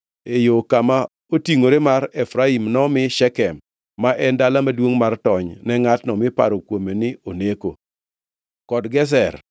E yo kama otingʼore mar Efraim nomi Shekem (ma en dala maduongʼ mar tony ne ngʼatno miparo kuome ni oneko) kod Gezer,